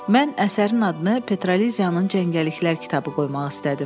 Mən əsərin adını Petraliziyanın cəngəlliklər kitabı qoymaq istədim.